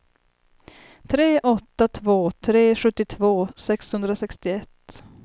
tre åtta två tre sjuttiotvå sexhundrasextioett